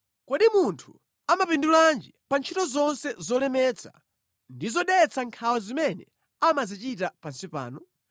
Kodi munthu amapindulanji pa ntchito zonse zolemetsa ndi zodetsa nkhawa zimene amazichita pansi pano?